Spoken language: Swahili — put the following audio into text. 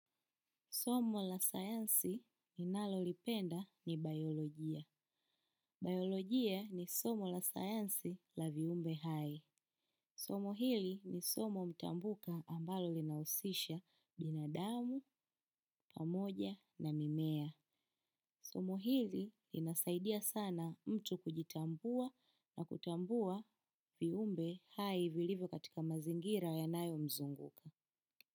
Somo la sayansi ninalolipenda ni biolojia. Biolojia ni somo la sayansi la viumbe hai. Somo hili ni somo mtambuka ambalo linahusisha binadamu, pamoja na mimea. Somo hili linasaidia sana mtu kujitambua na kutambua viumbe hai vilivyo katika mazingira yanayomzunguka.